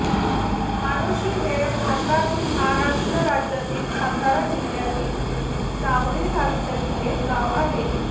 माडोशी हे भारतातील महाराष्ट्र राज्यातील सातारा जिल्ह्यातील जावळी तालुक्यातील एक गाव आहे